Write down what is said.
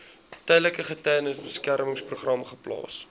tydelike getuiebeskermingsprogram geplaas